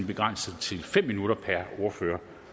begrænset til fem minutter per ordfører